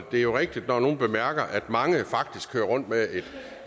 det er jo rigtigt når nogle bemærker at mange faktisk kører rundt med